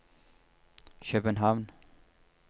København